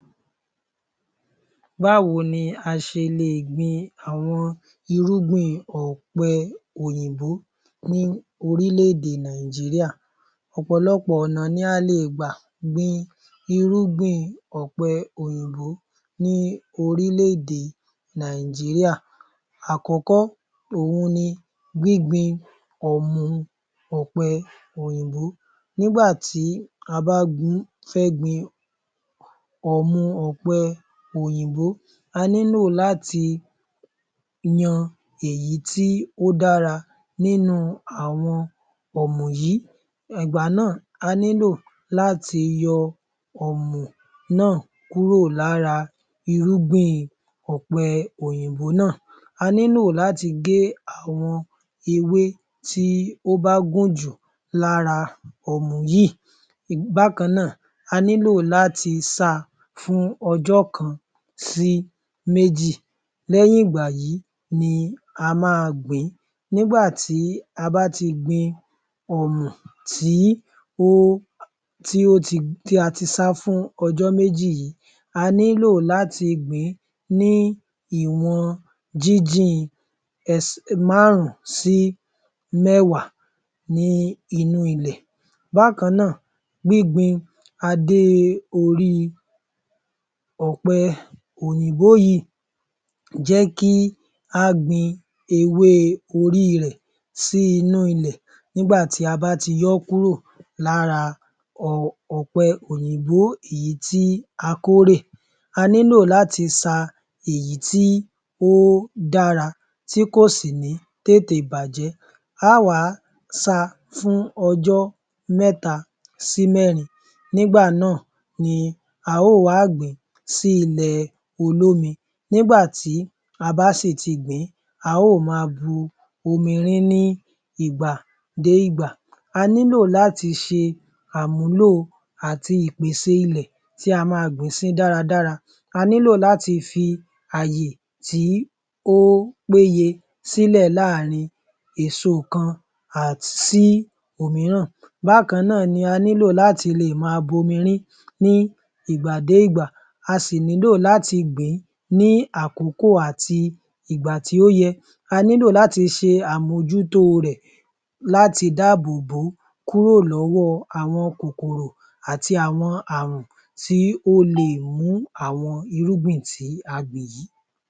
Báwo ni a ṣe lè gbin irúgbìn ọ̀pẹ ní orílẹ̀-èdè Nàìjíríà? Ọ̀pọ̀lọpọ̀ ọ̀nà ni a lè gbà gbin irúgbìn ọ̀pẹ òyìnbó ní orílẹ̀ - èdè Nàìjíríà. Àkọ́kọ́ òhun ni gbíngbin ọ̀mù ọ̀pẹ òyìnbó, nígbà tí a bá fẹ́ gbin ọ̀mù ọ̀pẹ òyìnbó, a nílò láti yan èyí tí ó dára nínú ọ̀mù ọ̀pẹ yìí ìgbà náà a nílò láti yọ ọ̀mù náà kúrò lára irúgbìn Ọ̀pẹ́ òyìnbó náà, a nílò láti gé ewé tí ó bá gùn jù lára ọ̀mù yíì, bákan náà a nílò láti sá a fún ọjọ́ kan sí méjì lẹ́yìn ìgbà yìí ni a máa gbìn –ín nígbà tí a bá ti gbin ọ̀mù tí a ti sá fún ọjọ́ méjì yìí a nílò láti gbìn - ín ní ìwọ̀n jínjìn ẹsẹ̀ márùn-ún sí mẹ́wàá ní inú ilẹ̀. Bákan náà gbíngbin adé oríi ọ̀pẹ òyìnbó yìí jẹ́ kí á gbin ewé orí rẹ̀ sí inú ilẹ̀ nígbà tí a bá ti yọ ọ́ kúrò lára ọ̀pẹ òyìnbó èyí tí a kórè, a nílò láti sa èyí tí ó dára tí kò sì ní tètè bàjẹ́ a óò wá sá a fún ọjọ́ mẹ́ta sí mẹ́rin nígbà náà ni a óò wá gbìn - ín sí ilẹ̀ olómi nígbà tí a bá sì ti gbìn - ín a óò ma bu omi rin - ín ní ìgbà dé ìgbà a nílò láti ṣe àmúlò àti ìpèsè ilẹ̀ tí a máa gbìn sí dáradára a nílò láti fi ààyè tí ó péye sílẹ̀ láàárín èso kan sí òmíràn bákan náà ni a nílò láti lè máa bu omi rin–ín ní ìgbà dé ìgbà a sì nílò láti gbìn - ín ní ìgbà tí ó yẹ a nílò láti ṣe àmójútó rẹ̀ láti dáàbò bò ó kúrò lọ́wọ́ àwọn kòkòrò àti àwọn àrùn tí ó le è mú àwọn irúgbìn tí a gbìn yìí.